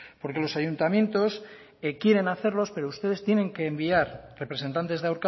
porque los ayuntamientos quieren hacerlos pero ustedes tienen que enviar representantes de